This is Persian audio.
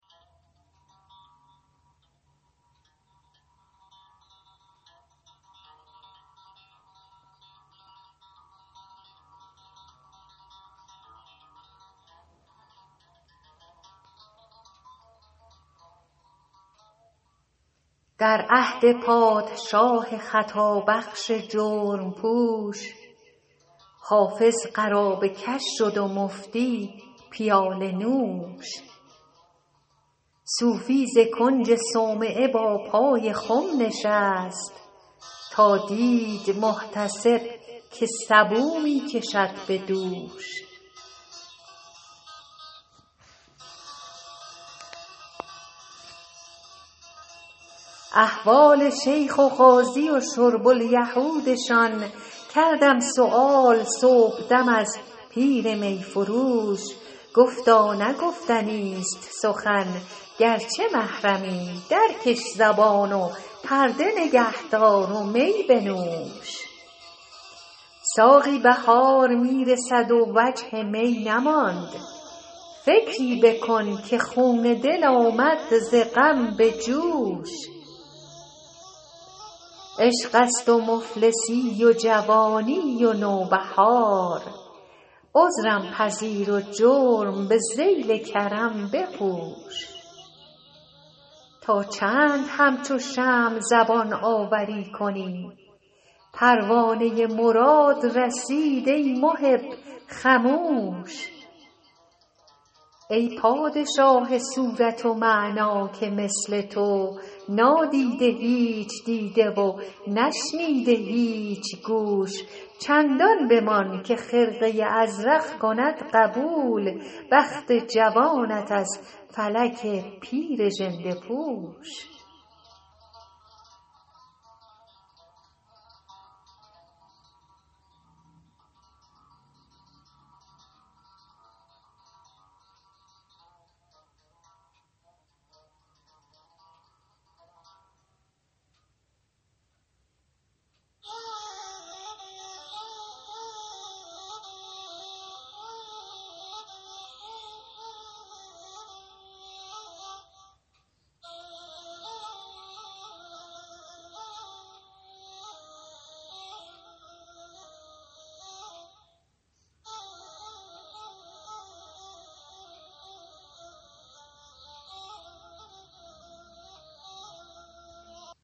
در عهد پادشاه خطابخش جرم پوش حافظ قرابه کش شد و مفتی پیاله نوش صوفی ز کنج صومعه با پای خم نشست تا دید محتسب که سبو می کشد به دوش احوال شیخ و قاضی و شرب الیهودشان کردم سؤال صبحدم از پیر می فروش گفتا نه گفتنیست سخن گرچه محرمی درکش زبان و پرده نگه دار و می بنوش ساقی بهار می رسد و وجه می نماند فکری بکن که خون دل آمد ز غم به جوش عشق است و مفلسی و جوانی و نوبهار عذرم پذیر و جرم به ذیل کرم بپوش تا چند همچو شمع زبان آوری کنی پروانه مراد رسید ای محب خموش ای پادشاه صورت و معنی که مثل تو نادیده هیچ دیده و نشنیده هیچ گوش چندان بمان که خرقه ازرق کند قبول بخت جوانت از فلک پیر ژنده پوش